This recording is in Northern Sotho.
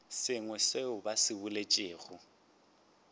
sengwe seo ba se boletšego